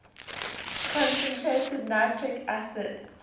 concentrated nitric acid